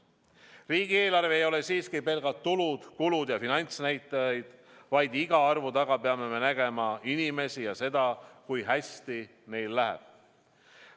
Riigieelarve ei ole siiski pelgalt tulud-kulud ja finantsnäitajad, vaid iga arvu taga peame me nägema inimesi ja seda, kui hästi meil läheb.